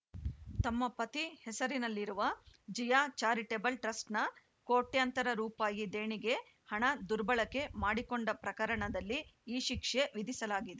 ತಮ್ಮ ಪತಿ ಹೆಸರಿನಲ್ಲಿರುವ ಜಿಯಾ ಚಾರಿಟಬಲ್‌ ಟ್ರಸ್ಟ್‌ನ ಕೋಟ್ಯಂತರ ರೂಪಾಯಿ ದೇಣಿಗೆ ಹಣ ದುರ್ಬಳಕೆ ಮಾಡಿಕೊಂಡ ಪ್ರಕರಣದಲ್ಲಿ ಈ ಶಿಕ್ಷೆ ವಿಧಿಸಲಾಗಿದೆ